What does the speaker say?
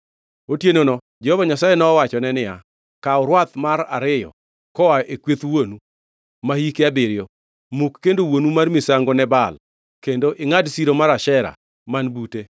Otienono Jehova Nyasaye nowachone niya, “Kaw rwath mar ariyo koa e kweth wuonu, ma hike abiriyo. Muk kendo wuonu mar misango ne Baal kendo ingʼad siro mar Ashera man bute.